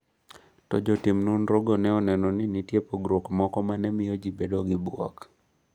To jotim nonrogo ne oneno ni nitie pogruok moko ma ne miyo ji bedo gi bwok.